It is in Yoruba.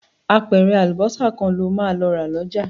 Apẹ̀rẹ̀ àlùbọ́sà kan lo máa lọ rà lọ́jà